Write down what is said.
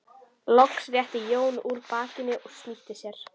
Loks rétti Jón úr bakinu og snýtti sér.